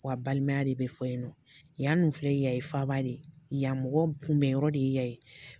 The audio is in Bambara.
Wa balimaya de be fɔ yen nɔ .Yan filɛ yan ye faaba de ye , yan mɔgɔ kunbɛn yɔrɔ de ye yan ye.